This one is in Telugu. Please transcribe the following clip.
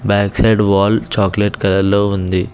Back side wall chocolate colour లో ఉంది.